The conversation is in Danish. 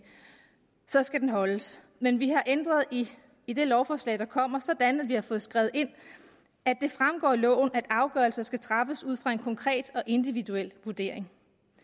så skal den holdes men vi har ændret i det lovforslag der kommer sådan at vi har fået skrevet ind at det fremgår af loven at afgørelser skal træffes ud fra en konkret og individuel vurdering